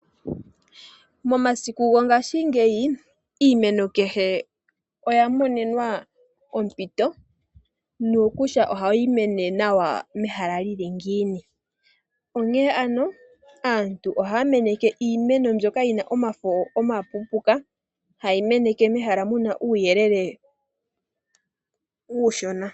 Momasiku go ngaashingeyi iimeno kehe oya monenwa ompito nokutya ohayi mene nawa mehala li li ngiini. Onkene ano aantu ohaya meneke iimeno mbyoka yi na omafo omapuupuka haye yi meneke mehala moka muna uuyelele uushona.